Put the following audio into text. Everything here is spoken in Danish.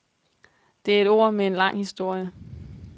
Det er et ord med en lang historie.